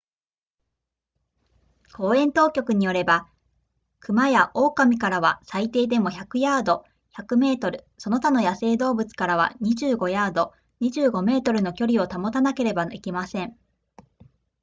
公園当局によれば熊や狼からは最低でも100ヤード100メートルその他の野生動物からは25ヤード25メートルの距離を保たなければいけません